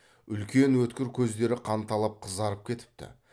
үлкен өткір көздері қанталап қызарып кетіпті